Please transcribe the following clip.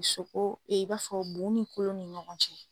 i b'a fɔ bu ni kolo ni ɲɔgɔn cɛ.